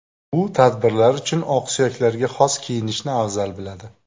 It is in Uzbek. U tadbirlar uchun oqsuyaklarga xos kiyinishni afzal biladi.